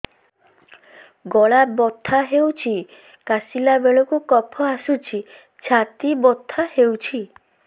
ଗଳା ବଥା ହେଊଛି କାଶିଲା ବେଳକୁ କଫ ଆସୁଛି ଛାତି ବଥା ହେଉଛି